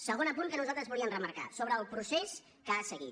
segon apunt que nosaltres volíem remarcar sobre el procés que ha seguit